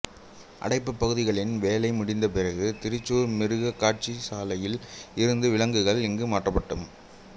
அடைப்புப் பகுதிகளின் வேலை முடிந்த பிறகு திரிசூர் மிருகக்காட்சிசாலையில் இருந்து விலங்குகள் இங்கு மாற்றப்படும்